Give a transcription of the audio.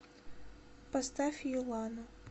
поставь юлану